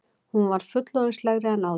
Hún var fullorðinslegri en áður.